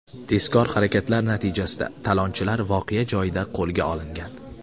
Tezkor harakatlar natijasida talonchilar voqea joyida qo‘lga olingan.